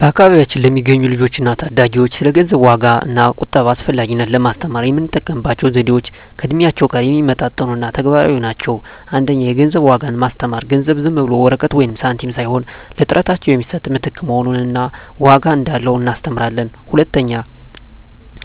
በአካባቢያችን ለሚገኙ ልጆች እና ታዳጊዎች ስለ ገንዘብ ዋጋ እና ቁጠባ አስፈላጊነት ለማስተማር የምንጠቀምባቸው ዘዴዎች ከእድሜያቸው ጋር የሚመጣጠኑ እና ተግባራዊ ናቸው። 1) የገንዘብ ዋጋን ማስተማር ገንዘብ ዝም ብሎ ወረቀት ወይም ሳንቲም ሳይሆን ለጥረታቸው የሚሰጥ ምትክ መሆኑን እና ዋጋ እንዳለው እናስተምራለን።